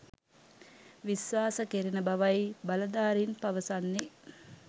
විශ්වාස කෙරෙන බවයි බලධාරීන් පවසන්නේ.